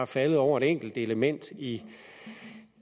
faldet over et enkelt element i